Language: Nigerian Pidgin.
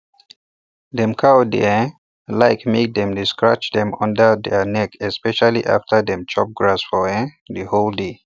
dem cow dey um like make um dem dey scratch dem unda their neck especially after dem chop grass for the um whole day